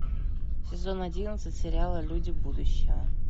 сезон одиннадцать сериала люди будущего